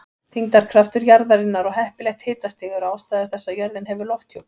Þyngdarkraftur jarðarinnar og heppilegt hitastig eru ástæður þess að jörðin hefur lofthjúp.